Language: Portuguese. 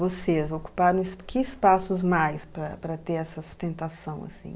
Vocês ocuparam esp que espaços mais para para ter essa sustentação, assim?